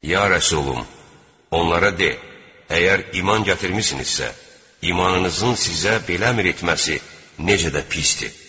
Ya Rəsulüm, onlara de: “Əgər iman gətirmisinizsə, imanınızın sizə belə əmr etməsi necə də pisdir.”